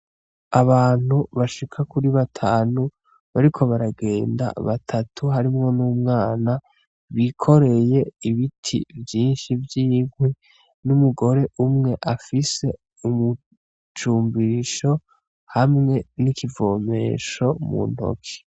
Abantu bashika kuri batanu bariko baragenda batatu harimwo n’umwana ,bikoreye ibiti vyinshi vy’inkwi, n’umugore umwe afise umucumbisho hamwe n’ikivomesho mu ntoke .